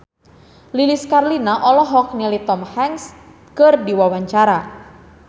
Lilis Karlina olohok ningali Tom Hanks keur diwawancara